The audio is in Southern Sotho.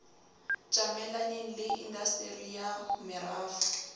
tjamelaneng le indasteri ya merafo